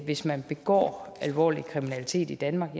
hvis man begår alvorlig kriminalitet i danmark